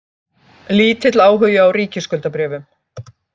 Lítill áhugi á ríkisskuldabréfum